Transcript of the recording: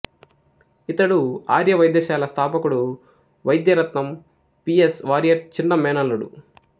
ఇతడు ఆర్య వైద్య శాల స్థాపకుడు Vaidyaratnam P S Warrier చిన్న మేనల్లుడు